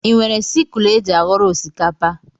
Ị nwere sikul éjị aghọrọ osikapa?